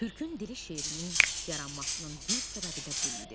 "Türkün dili" şeirinin yaranmasının bir səbəbi də bu idi.